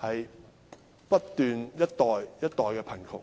般，不斷一代一代地貧窮。